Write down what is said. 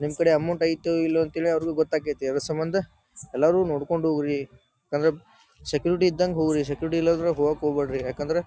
ನಿಮ್ ಕಡೆ ಅಮೌಂಟ್ ಅಯ್ತೊ ಇಲ್ಲೊ ಅಂತ ಹೇಳಿ ಅವ್ರಿಗ ಗೊತ್ತಾಗತೈತಿ. ಅದ್ರ ಸಂಬಂಧ ಎಲ್ಲರೂ ನೋಡ್ಕೊಂಡ್ ಹೋಗ್ರಿ ಯಾಕಂದ್ರ ಸೆಕ್ಯೂರಿಟಿ ಇದ್ದಂಗ ಹೋಗ್ರಿ ಸೆಕ್ಯೂರಿಟಿ ಇಲ್ಲಾಂದ್ರ ಹೋಗೋಕ್ ಹೋಗಬ್ಯಾಡ್ರಿ ಯಾಕಂದ್ರ--